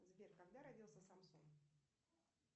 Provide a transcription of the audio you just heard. сбер когда родился самсон